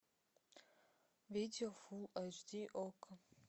видео фул эйч ди окко